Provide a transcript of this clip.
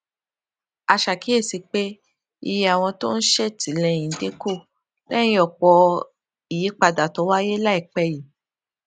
a ṣàkíyèsí pé iye àwọn tó ń ṣètìlẹyìn dín kù léyìn òpò ìyípadà tó wáyé láìpé yìí